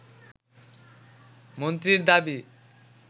মন্ত্রীর দাবি